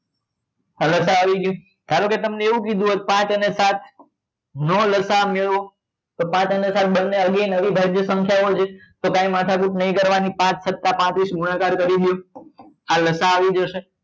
આ લસા અ આવી ગયું ધારોકે તમને એવું કીધું હોત કે પાંચ અને સાત નો લસા આ મેળવો તો પાંચ અને સાત બંને again અવિભાજ્ય સંખ્યા ઓ છે તો કઈ માથાકૂટ નહિ કરવા ની પાંચ સત્તા પાંત્રીસ ગુણાકાર કરી ને આ લસા આવી જશે